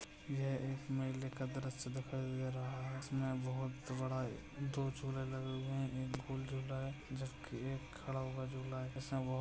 यह एक मेले का दृश्य दिखाई दे रहा है इसमे बहुत बड़ा दो झूले लगे हुए है इधर कोई झूल रहा है जिसके एक खड़ा हुआ झुला जीसने बहोत --